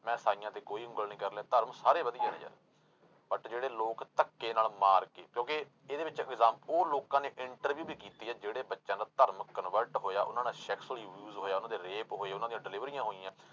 ਮੈ ਇਸਾਈਆਂ ਤੇ ਕੋਈ ਉਂਗਲ ਨੀ ਕਰ ਰਿਹਾ ਧਰਮ ਸਾਰੇ ਵਧੀਆ ਹੈ but ਜਿਹੜੇ ਲੋਕ ਧੱਕੇ ਨਾਲ ਮਾਰ ਕੇ ਕਿਉਂਕਿ ਇਹਦੇ ਵਿੱਚ ਐਗਜਾ ਉਹ ਲੋਕਾਂ ਨੇ interview ਵੀ ਕੀਤੀ ਹੈ ਜਿਹੜੇ ਬੱਚਿਆਂ ਦਾ ਧਰਮ convert ਹੋਇਆ ਉਹਨਾਂ ਨਾਲ sex ਹੋਈ use ਹੋਇਆ ਉਹਨਾਂ ਦੇ rape ਹੋਏ ਉਹਨਾਂ ਦੀਆਂ ਡਿਲੀਵਰੀਆਂ ਹੋਈਆਂ।